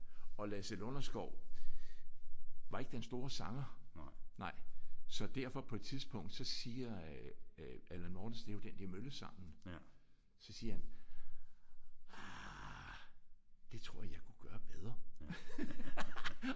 Og Lasse Lunderskov var ikke den store sanger. Nej så derfor på et tidspunkt så siger øh øh Allan Mortensen det er jo den der Mølleskoven så siger han ah det tror jeg jeg kunne gøre bedre